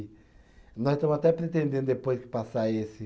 Nós estamos até pretendendo depois que passar esse.